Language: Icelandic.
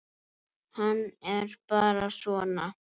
Hann er bara svona.